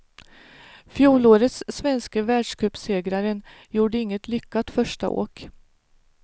Fjolårets svenske världscupsegraren gjorde inget lyckat första åk.